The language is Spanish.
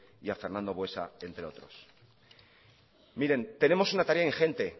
y a fernando buesa entre otros miren tenemos una tarea ingente